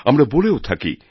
আমরা বলেও থাকি